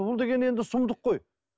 бұл деген енді сұмдық қой